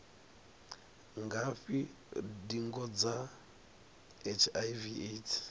ngafhi ndingo dza hiv aids